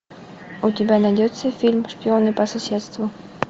у тебя найдется фильм шпионы по соседству